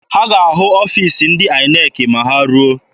Ha ga-ahụ ọfiisi ndị INEC ma ha ruo.